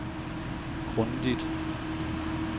grundigt